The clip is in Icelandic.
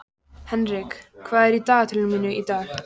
Henrik, hvað er í dagatalinu mínu í dag?